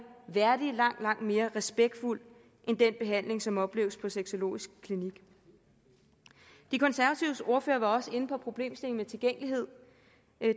værdig og langt langt mere respektfuld end den behandling som opleves på sexologisk klinik de konservatives ordfører var også inde på problemstillingen om tilgængelighed